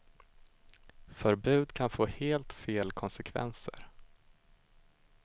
Förbud kan få helt fel konsekvenser.